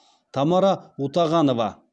тамара утағанова